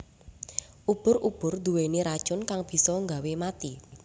Ubur ubur nduweni racun kang bisa nggawe mati